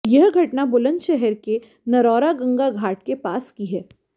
यह घटना बुलंदशहर के नरौरा गंगा घाट के पास की है